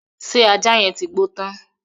Ṣé ajá yẹn ti gbó tán?